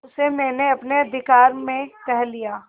उसे मैंने अपने अधिकार में कर लिया